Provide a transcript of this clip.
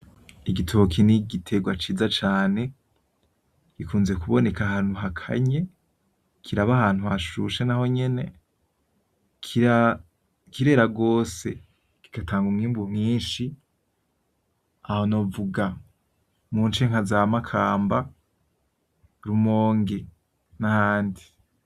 Igitoke n'igiterwa ciza cane, gikunzwe kuboneka ahantu hakanye, kiraba ahantu hashushe nahonyene kirera gose kigatanga umwimbu mwinshi, aho novuga munce nkaza Makamba, Rumonge n'ahandi